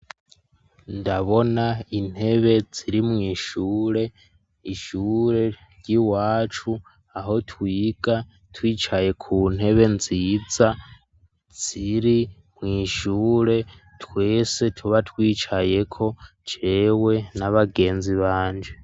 Ndabona intebe ziri mw'ishure, ishure ry'iwacu aho twiga twicaye ku ntebe nziza ziri mw'shure twese tuba twicayeko jewe n'abagenzi banje.